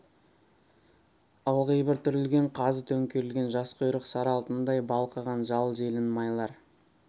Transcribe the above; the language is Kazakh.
ылғи бір түрілген қазы төңкерілген жас құйрық сары алтындай балқыған жал желін майлар